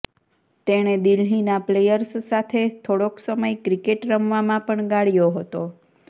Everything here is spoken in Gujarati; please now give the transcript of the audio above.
તેણે દિલ્હીના પ્લેયર્સ સાથે થોડોક સમય ક્રિકેટ રમવામાં પણ ગાળ્યો હતો